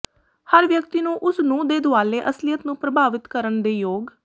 ਹਰ ਵਿਅਕਤੀ ਨੂੰ ਉਸ ਨੂੰ ਦੇ ਦੁਆਲੇ ਅਸਲੀਅਤ ਨੂੰ ਪ੍ਰਭਾਵਿਤ ਕਰਨ ਦੇ ਯੋਗ